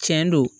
Cɛn do